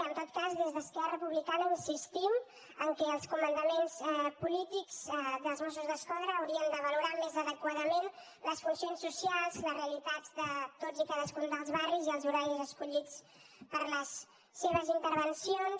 en tot cas des d’esquerra republicana insistim que els comandaments polítics dels mossos d’esquadra haurien de valorar més adequadament les funcions socials les realitats de tots i cadascun dels barris i els horaris escollits per a les seves intervencions